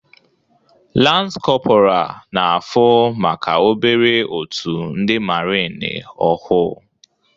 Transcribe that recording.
Lans korpora na fu maka obere otu ndi marini ohu